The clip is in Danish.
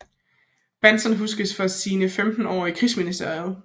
Bahnson huskes mest for sine 15 år i Krigsministeriet